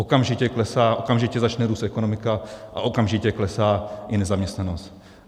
Okamžitě začne růst ekonomika a okamžitě klesá i nezaměstnanost.